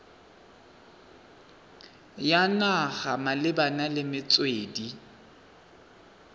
ya naga malebana le metswedi